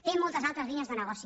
té moltes altres línies de negoci